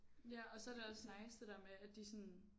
Ja og så er det også nice det der med at de sådan